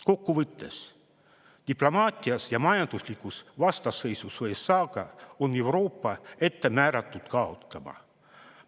Kokku võttes, diplomaatias ja majanduslikus vastasseisus USA-ga on Euroopa ette määratud kaotama.